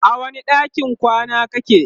a wani ɗakin kwana kake?